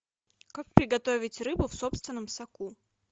как приготовить рыбу в собственном соку